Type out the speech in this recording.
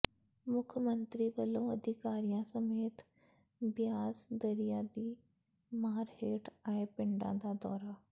ਮੁੱਖ ਮੰਤਰੀ ਵਲੋਂ ਅਧਿਕਾਰੀਆਂ ਸਮੇਤ ਬਿਆਸ ਦਰਿਆ ਦੀ ਮਾਰ ਹੇਠ ਆਏ ਪਿੰਡਾਂ ਦਾ ਦੌਰਾ